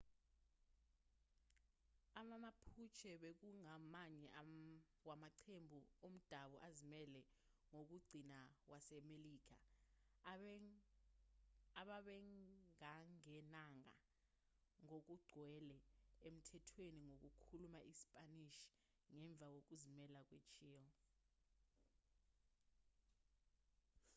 ama-mapuche bekungamanye wamaqembu omdabu azimele wokugcina wasemelika ababengangenanga ngokugcwele emthethweni wokukhuluma isipanishi ngemva kokuzimela kwe-chile